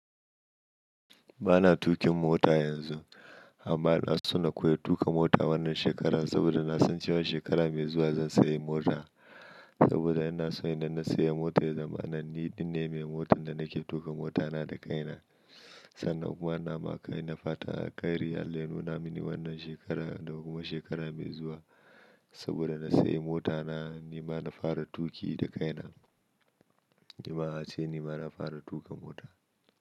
Ba na tuƙin mota yanzu, amma ina so na koyi tuƙa mota wannan shekaran saboda na san cewa shekara mai zuwa zan sayi mota. Saboda ina so idan na siya mota, ya zamana ni din ne mai motan da nake tuƙa mota na da kaina. Sannan kuma ina ma kaina fatan alkairi Allah ya nuna mini wannan shekara da kuma shekara mai zuwa saboda na sayi mota na. Ni ma na fara tuƙi da kaina. Ni ma a ce, ni ma na fara tuƙa mota.